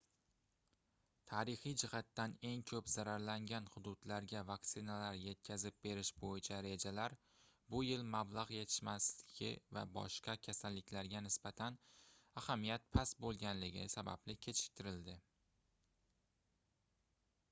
tarixiy jihatdan eng koʻp zararlangan hududlarga vaksinalar yetkazib berish boʻyicha rejalar bu yil mablagʻ yetishmasligi va boshqa kasalliklarga nisbatan ahamiyat past boʻlganligi sababli kechiktirildi